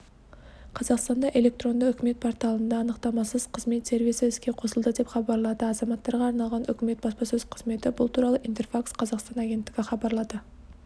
қазақстанда электронды үкімет порталында анықтамасыз қызмет сервисі іске қосылды деп хабарлады азаматтарға арналған үкімет баспасөз қызметі бұл туралы интерфакс-қазақстан агенттігі хабарлады